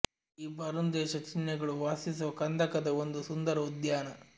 ಈ ಬರ್ನ್ ದೇಶ ಚಿಹ್ನೆಗಳು ವಾಸಿಸುವ ಕಂದಕದ ಒಂದು ಸುಂದರ ಉದ್ಯಾನ